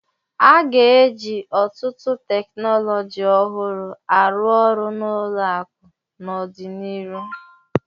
A ga-eji ọtụtụ teknọlọji ọhụrụ arụ orụ n' ụlọakụ n'ọdịnihu.